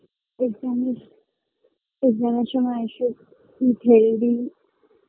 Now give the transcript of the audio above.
Exam -এ exam -এর সময় আসুক খুব healthy